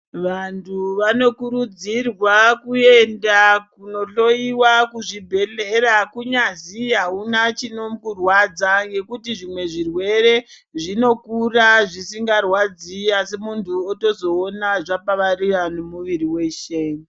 Vantu vanokurudzirwa kuenda kunohloyiwa kuzvibhehleya kunyazwi auna chinokurwadzwa ngekuti zvimwe zvirwere zvino kura zvisingarwadzi asi munhu otozoona zvapararira nemwiri weshe.